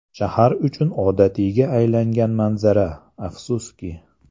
Shahar uchun odatiyga aylangan manzara, afsuski.